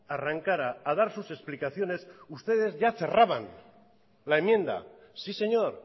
arrancara a dar sus explicaciones ustedes ya cerraban la enmienda sí señor